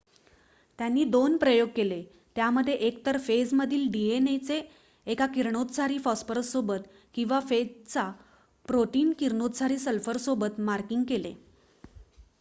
त्यांनी दोन प्रयोग केले त्यामध्ये एकतर फेजमधील डीएनए चे एका किरणोत्सारी फॉस्फरससोबत किंवा फेजचा प्रोटीन किरणोत्सारी सल्फरसोबत मार्किंग केले